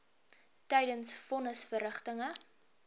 tydens von nisverrigtinge